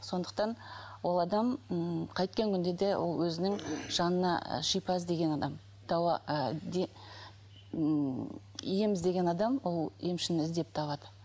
сондықтан ол адам ммм қайткен күнде де ол өзінің жанына шипа іздеген адам ы ммм ем іздеген адам ол емшіні іздеп табады